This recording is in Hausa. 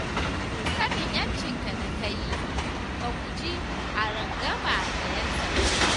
Komai sanin 'yancinka da ka yi, ka guji arangama da 'yan sanda.